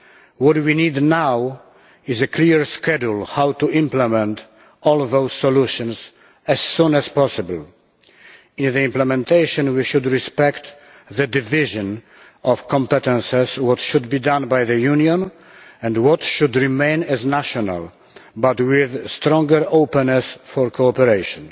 What we need now is a clear schedule on how to implement all of those solutions as soon as possible. In the implementation we should respect the division of competences what should be done by the Union and what should remain as national competences while being more open to cooperation.